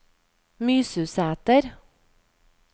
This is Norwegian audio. Mysusæter